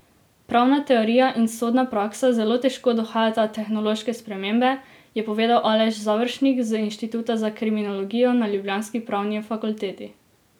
Pravna teorija in sodna praksa zelo težko dohajata tehnološke spremembe, je povedal Aleš Završnik z inštituta za kriminologijo na ljubljanski pravni fakulteti.